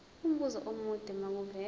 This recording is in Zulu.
umbuzo omude makuvele